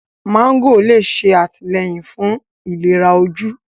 mágò lè ṣe àtìlẹ́yìn fún ìléra ojú.